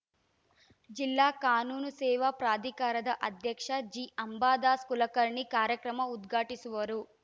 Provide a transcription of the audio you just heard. ಜಿಲ್ಲಾ ಕಾನೂನು ಸೇವಾ ಪ್ರಾಧಿಕಾರದ ಅಧ್ಯಕ್ಷ ಜಿಅಂಬಾದಾಸ್‌ ಕುಲಕರ್ಣಿ ಕಾರ್ಯಕ್ರಮ ಉದ್ಘಾಟಿಸುವರು